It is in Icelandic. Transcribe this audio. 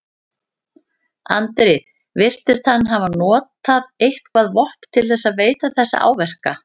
Andri: Virtist hann hafa notað eitthvað vopn til þess að veita þessa áverka?